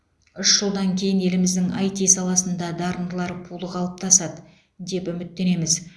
үш жылдан кейін еліміздің іт саласында дарындылар пулы қалыптасады деп үміттенеміз